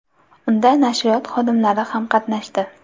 Unda nashriyot xodimlari ham qatnashdi.